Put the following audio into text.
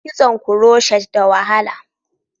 Kitson kuroshet da wahala